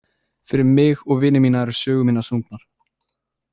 Fyrir mig og vini mína eru sögur mínar sungnar.